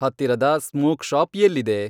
ಹತ್ತಿರದ smoke shop ಎಲ್ಲಿದೆ